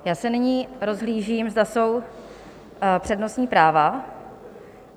Já se nyní rozhlížím, zda jsou přednostní práva.